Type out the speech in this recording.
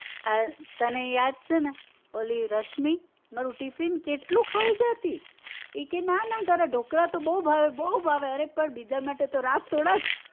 હા તને યાદ છે ને ઓલી રશ્મી મારું ટીફીન કેટલું ખાઈ જાતી! ઈ કે ના ના તારા ઢોકળા તો બવ ભાવે બવ ભાવે અરે પણ બીજા માટે તો રાખ થોડાક